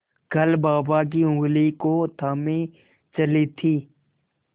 कल बाबा की ऊँगली को थामे चली थी